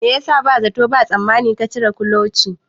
Me yasa ba zato ba tsammani ka cire kuloci